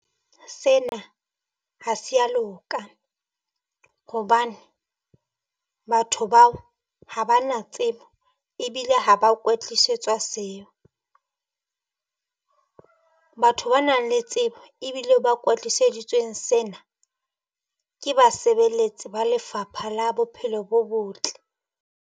Sena ha se ya loka hobane batho bao ha ba na tsebo ebile ha ba kwetlisetswa seo, batho ba nang le tsebo ebile ba kwetliseditsweng sena ke basebeletsi ba Lefapha la Bophelo bo Botle.